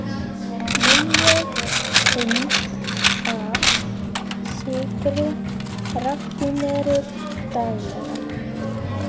Miljón pund af sykri raffíneruð daglega.